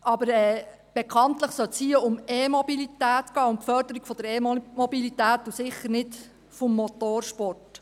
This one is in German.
Aber bekanntlich sollte es hier um E-Mobilität gehen, um die Förderung der E-Mobilität und sicher nicht vom Motorsport.